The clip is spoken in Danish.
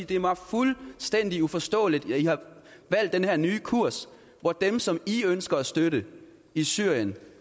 det er mig fuldstændig uforståeligt at i har valgt den her nye kurs hvor dem som i ønsker at støtte i syrien